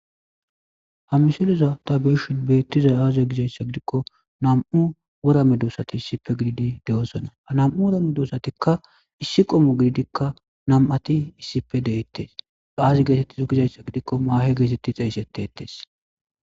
hamisileza tabe'ishin beettizay aaze gizayssa gidikko nam7u wora medosati issipe gididi de'osona , anam'u wora medoosatikka issi qomo gididikka nam'ati issipe de'ettes aaazi geetettizo gizayssa gidikko maahe geetetti xeeysetetes